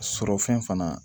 Sɔrɔ fɛn fana